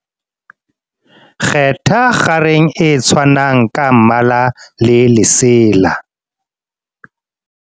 kgetha kgareng e tshwanang ka mmala le lesela